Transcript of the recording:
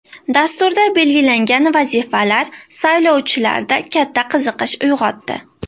Dasturda belgilangan vazifalar saylovchilarda katta qiziqish uyg‘otdi.